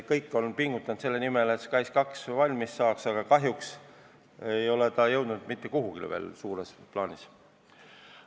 Kõik on pingutanud selle nimel, et SKAIS2 valmis saaks, aga kahjuks ei ole ta suures plaanis veel mitte kuhugi jõudnud.